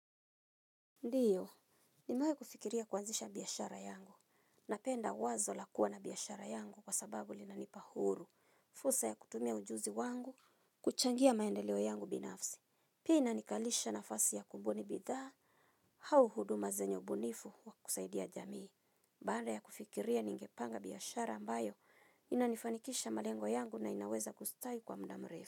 Ndiyo, nimewai kufikiria kuanzisha biyashara yangu. Napenda wazo lakua na biyashara yangu kwa sababu linanipa huru. Fursa ya kutumia ujuzi wangu, kuchangia maendeleo yangu binafsi. Pina inikalisha nafasi ya kumbuni bidhaa, hau huduma zenyo ubunifu wa kusaidia jamii. Banda ya kufikiria ningepanga biyashara ambayo, inanifanikisha malengo yangu na inaweza kustawi kwa mda mrefu.